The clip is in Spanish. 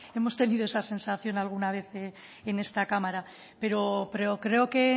hemos tenido esa sensación alguna vez en esta cámara pero creo que